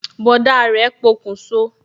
Bọ̀dá rẹ pokun so